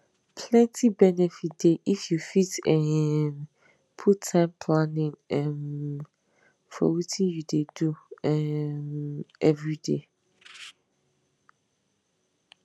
plenty benefit dey if you fit um put time planning um for wetin you dey do um everyday